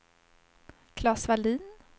Klas Vallin